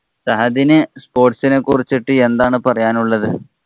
സഹദിനു sports ഇനെ കുറിച്ചിട്ടു എന്താണ് പറയാനുള്ളത്?